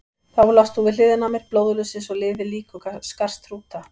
Þá lást þú við hliðina á mér, blóðlaus eins og liðið lík og skarst hrúta.